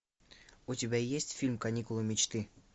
у тебя есть фильм каникулы мечты